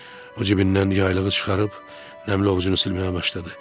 O cibindən yaylığını çıxarıb nəmli ovcunu silməyə başladı.